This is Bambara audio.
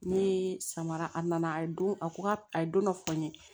Ne samara a nana a ye don a ko ka a ye don dɔ fɔ n ye